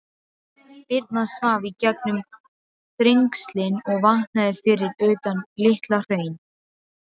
Birna svaf í gegnum Þrengslin og vaknaði fyrir utan Litla-Hraun.